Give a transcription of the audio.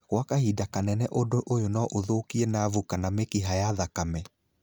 Gwa kahinda kanene ũndũ ũyũ no ũthũkie navu kana mĩkiha ya thakame